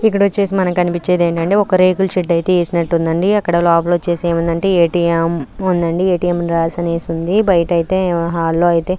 ఇక్కడ మనకి ఏం కన్పిస్తుంది అంటే ఒక రేగుల్ చెట్టు ఏసినట్టు ఉంది అక్కడ లోపల ఏ టి ఏం ఉందండి ఏ టి ఏం అని రాసి ఎసి ఉంది బైట అంటే హాల్ లో --